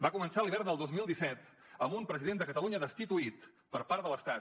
va començar l’hivern del dos mil disset amb un president de catalunya destituït per part de l’estat